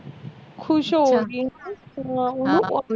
ਖੁਸ਼ ਹੋ ਗਈ ਹੈਂ